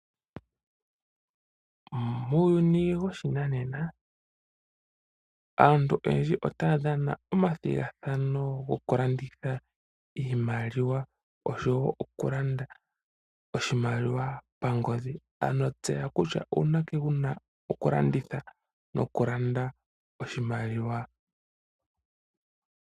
Muuyuni woshinanena aantu oyedji otaya dhana omathigathano gokulanditha iimaliwa oshowo okulanda oshimaliwa pangodhi. Ano tseya kutya uunake wuna okulanditha nokulanda oshimaliwa.